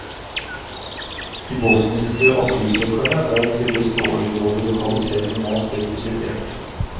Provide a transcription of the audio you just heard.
De bosniske asylsøkerne der trivdes dårlig, både lokalisering og mat ble kritisert.